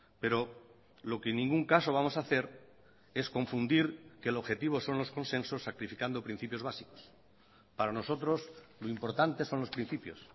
pero lo que en ningún caso vamos a hacer es confundir que el objetivo son los consensos sacrificando principios básicos para nosotros lo importante son los principios